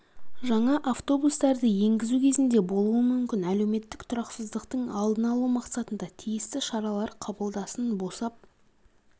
жаңа автобустарды енгізу кезінде болуы мүмкін әлеуметтік тұрақсыздықтың алдын алу мақсатында тиісті шаралар қабылдасын босап